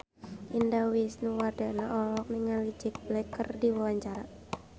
Indah Wisnuwardana olohok ningali Jack Black keur diwawancara